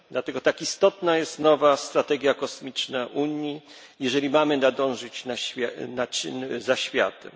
Dlatego tak istotna jest nowa strategia kosmiczna Unii, jeżeli mamy nadążyć za światem.